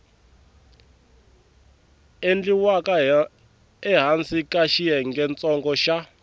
endliwaka ehansi ka xiyengentsongo xa